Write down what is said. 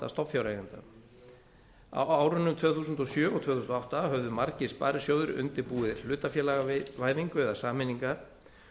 stofnfjáreigenda á árunum tvö þúsund og sjö og tvö þúsund og átta höfðu margir sparisjóðir undirbúið hlutafélagavæðingu eða sameiningar